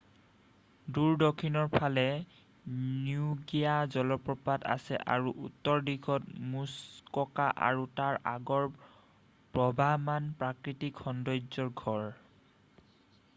দূৰ দক্ষিণৰ ফালে নিগ্ৰোয়া জলপ্ৰপাত আছে আৰু উত্তৰ দিশত মুছককা আৰু তাৰ আগৰ প্ৰবাহমান প্ৰাকৃতিক সন্দৰ্য্যৰ ঘৰ